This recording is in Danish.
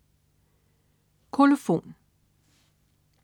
Kolofon